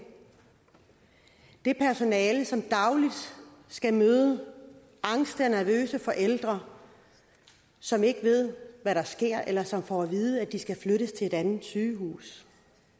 det personale som dagligt skal møde angste og nervøse forældre som ikke ved hvad der sker eller som får at vide at de skal flyttes til et andet sygehus